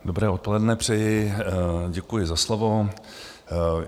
Dobré odpoledne přeji, děkuji za slovo.